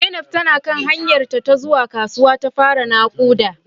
Zainab na kan hanyarta ta zuwa kasuwa ta fara nakuda